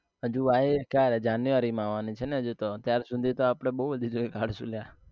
હજુ આવ્યે ક્યારે january માં આવવા ની છે ને હજુ તો ત્યાર સુધી તો આપણે બઉ બધી જગ્યા એ ઘર